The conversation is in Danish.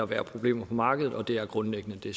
være problemer på markedet og det er grundlæggende det